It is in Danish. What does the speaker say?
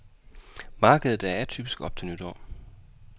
Markedet er atypisk op til nytår.